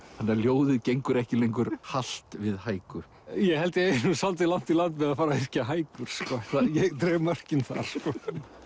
þannig að ljóðið gengur ekki lengur halt við ég held ég eigi nú svolítið langt í land með að fara að yrkja hækur ég dreg mörkin þar sko